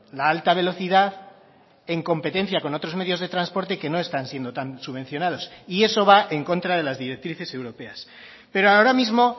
la alta velocidad en competencia con otros medios de transporte que no están siendo tan subvencionados y eso va en contra de las directrices europeas pero ahora mismo